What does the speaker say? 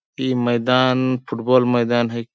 इ मैदान फुटबॉल मैदान है।